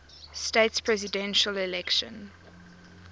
states presidential election